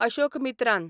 Ashokamitran